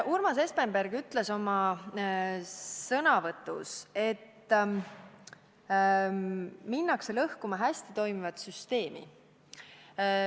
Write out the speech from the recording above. Urmas Espenberg ütles oma sõnavõtus, et minnakse lõhkuma hästi toimivat süsteemi.